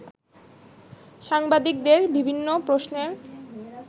সাংবাদিকদের বিভিন্ন প্রশ্নের